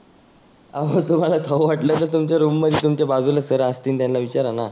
आहो तुम्हाला खाऊ तर तुमच्या रुम मध्ये तुमच्या बाजुला सर असतील त्यांना विचाराना.